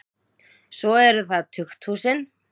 Svo eru það tukthúsin.